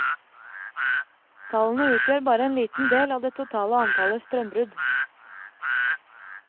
Tallene utgjør bare en liten del av det totale antallet strømbrudd.